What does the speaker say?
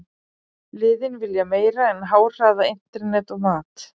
Liðin vilja meira en háhraða internet og mat.